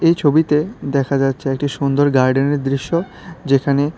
এই ছবিতে দেখা যাচ্ছে একটি সুন্দর গার্ডেনের দৃশ্য যেখানে--।